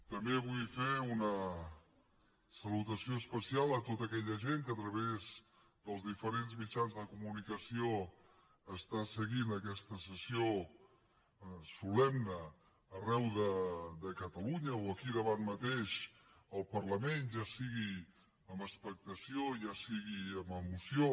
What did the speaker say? també vull fer una salutació especial a tota aquella gent que a través dels diferents mitjans de comunicació està seguint aquesta sessió solemne arreu de catalunya o aquí davant mateix al parlament ja sigui amb expectació ja sigui amb emoció